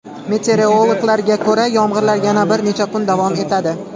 Meteorologlarga ko‘ra, yomg‘irlar yana bir necha kun davom etadi.